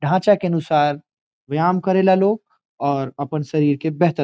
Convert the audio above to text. ढांचा के अनुसार व्यायाम करेला लोग और अपन शरीर के बेहतर --